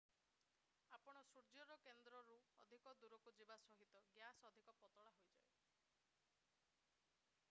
ଆପଣ ସୂର୍ଯ୍ୟର କେନ୍ଦ୍ରରୁ ଅଧିକ ଦୂରକୁ ଯିବା ସହିତ ଗ୍ୟାସ୍ ଅଧିକ ପତଳା ହୋଇଯାଏ